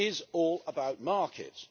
It is all about markets.